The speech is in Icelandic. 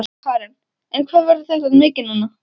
Karen: En hvað verður þetta mikið núna?